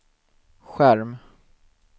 skärm